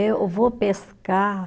Eu vou pescar.